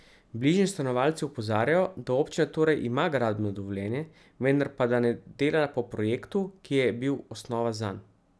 Bližnji stanovalci opozarjajo, da občina torej ima gradbeno dovoljenje, vendar pa ne dela po projektu, ki je bil osnova zanj.